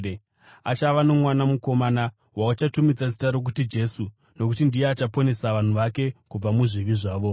Achava nomwana mukomana wauchazotumidza zita rokuti Jesu nokuti ndiye achaponesa vanhu vake kubva muzvivi zvavo.”